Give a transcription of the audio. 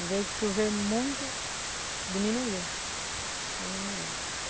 Em vez de chover muito, diminuiu, diminuiu.